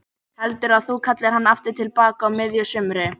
Heldurðu að þú kallir hann aftur til baka á miðju sumri?